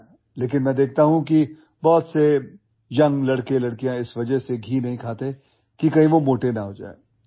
लेकिन मैं देखता हूं कि बहुत से ୟଂ लड़के लड़कियां इस वजह सेघी नहीं खाते कि कही वो मोटे ना होजाए